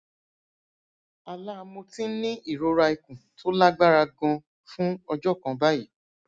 àlá mo ti ń ní ìrora ikun tó lágbára ganan fún ọjọ kan báyìí